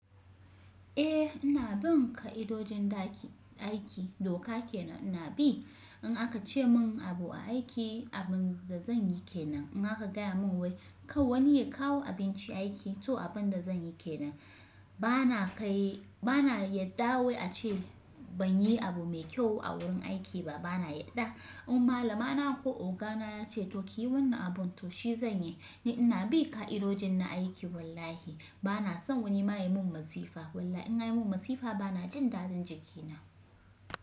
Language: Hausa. Eh ina bin ka'idojin da aiki doka kenan ina bi. In aka ce mun abu aiki abin da zan yi kenan. In aka gaya mun wai kar wani ya kawo abinci aiki to abin da zan yi kenan. Bana kai, bana yadda wai ace ban yi abu mai kyau a wurin aiki ba bana yadda. In malama na ko ogana ya ce to ki yi wannan abun to shi zan yi. Ni ina bi ka'idojin na aiki wallahi bana son wani ma yayi mun masifa. Wallahi in anyi mun masifa bana jin daɗin jiki na.